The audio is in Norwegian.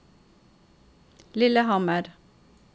Lillehammer